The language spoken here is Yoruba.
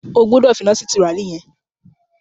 O gbọ́dọ̀ fi iná sí tùràrí yẹn!